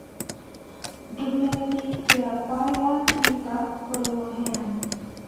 ndũmĩrĩri yakwa ya tũita kũrĩ mũheani